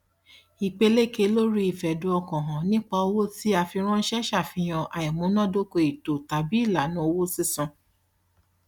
ìpeléke lóri ìfẹdùnọkànhàn nípa owó tí a fi ránṣẹ ṣàfihàn àìmúnádóko ètò tàbí ìlànà owó sísan